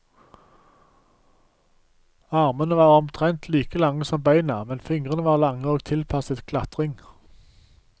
Armene var omtrent like lange som beina, men fingrene var lange og tilpasset klatring.